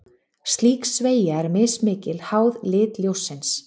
Slík sveigja er mismikil, háð lit ljóssins.